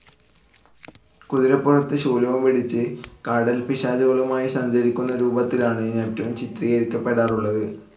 കുതിരപ്പുറത്ത് ശൂലവും പിടിച്ച് കടൽപ്പിശാചുകളുമായി സഞ്ചരിക്കുന്ന രൂപത്തിലാണ് നെപ്റ്റൂൺ ചിത്രീകരിക്കപെടാറുള്ളത്.